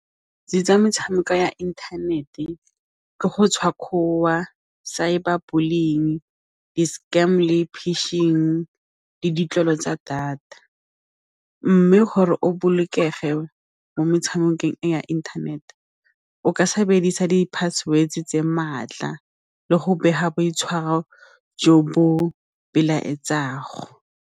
Di tsa metshameko ya inthanete ke go cyber bullying, di-scam le pishing le ditlwaelo tsa data mme gore o bolokege mo metshamekong ya inthanete o ka sebedisa di-password tse maatla le go bega boitshwaro jo bo .